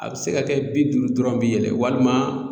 A bɛ se ka kɛ bi duuru dɔrɔn bi yɛlɛ walima